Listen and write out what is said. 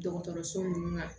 Dɔgɔtɔrɔso ninnu na